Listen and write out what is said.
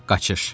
Qaçış.